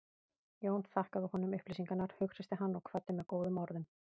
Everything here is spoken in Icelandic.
Jón þakkaði honum upplýsingarnar, hughreysti hann og kvaddi með góðum orðum.